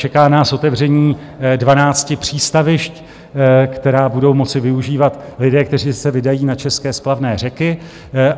Čeká nás otevření 12 přístavišť, která budou moci využívat lidé, kteří se vydají na české splavné řeky.